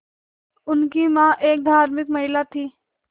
उनकी मां एक धार्मिक महिला थीं